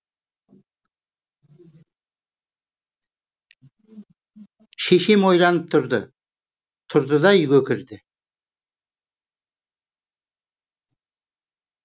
шешем ойланып тұрды тұрды да үйге кірді